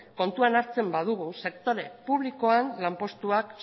kontuan hartzen badugu sektore publikoen lanpostuak